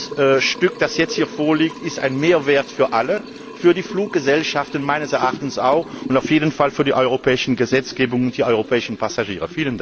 Dieser Vorschlag, der jetzt hier vorliegt, ist ein Mehrwert für alle für die Fluggesellschaften meines Erachtens auch, und auf jeden Fall für die europäische Gesetzgebung und die europäischen Passagiere!